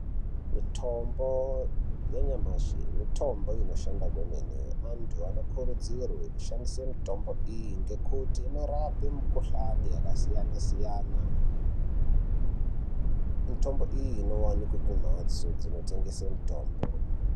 Mitombo yanyamashi mitombo inoshanda kwemene. Antu anokurudzirwe kushandise mitombo iyi ngekuti inorape mikuhlani yakasiyana-siyana. Mitombo iyi inovanikwa kumhatso dzinotengese mitombo.